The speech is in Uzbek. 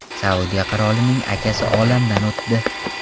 Saudiya qirolining akasi olamdan o‘tdi.